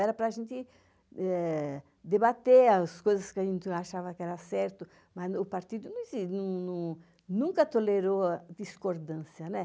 Era para a gente debater as coisas que a gente achava que eram certas, mas o partido nunca tolerou a discordância, né?